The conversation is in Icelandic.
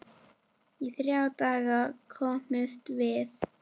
Í þrjá daga hömumst við.